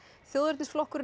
þjóðernisflokkurinn